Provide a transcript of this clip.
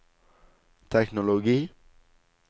teknologi